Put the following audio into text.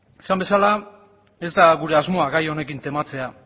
esan bezala ez da gure asmoa gai honekin tematzea